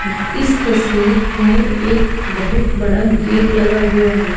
इस तस्वीर में एक बहुत बड़ा गेट लगा हुआ है।